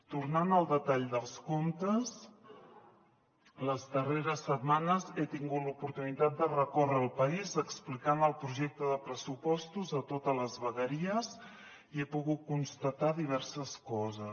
tornant al detall dels comptes les darreres setmanes he tingut l’oportunitat de recórrer el país explicant el projecte de pressupostos a totes les vegueries i he pogut constatar diverses coses